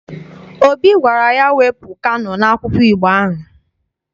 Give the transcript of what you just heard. Obi gwara ya, wepụ Kano n'akwụkwọ Igbo ahụ!